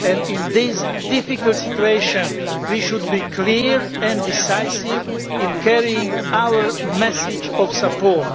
In this difficult situation we should be clear and decisive in carrying our message of support.